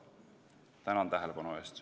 Tänan tähelepanu eest!